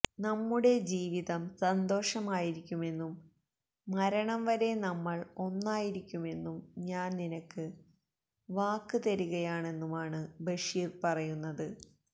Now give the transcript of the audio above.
നമ്മുടെ ജീവിതം സന്തോഷമായിരിക്കുമെന്നും മരണം വരെ നമ്മള് ഒന്നായിരിക്കുമെന്നും ഞാന് നിനക്ക് വാക്ക് തരികെയാണെന്നുമാണ് ബഷീര് പറയുന്നത്